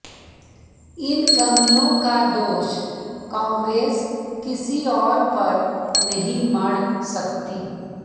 इन कमियों का दोष कांग्रेस किसी और पर नहीं मढ़ सकती